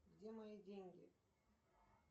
где мои деньги